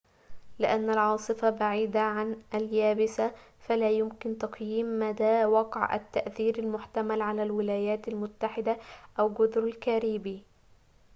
لأن العاصفة بعيدة عن اليابسة فلا يمكن تقييم مدى وقع التأثير المحتمل على الولايات المتحدة أو جزر الكاريبي